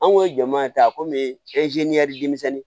An kun ye jɔn maa ye a komi denmisɛnnin